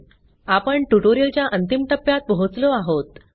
आपण ट्युटोरियलच्या अंतिम टप्प्यात पोहोचलो आहोत